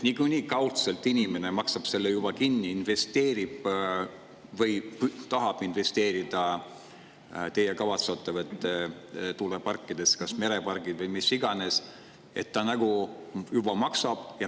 Niikuinii kaudselt inimene maksab selle juba kinni, investeerib või tahab investeerida teie kavatsetavatesse tuuleparkidesse, kas mereparkidesse või mis iganes – ta nagunii juba maksab selle kinni.